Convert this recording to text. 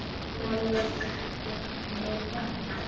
Mamma mjúka.